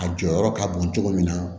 A jɔyɔrɔ ka bon cogo min na